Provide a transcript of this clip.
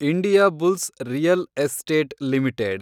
Indiabulls real estate limited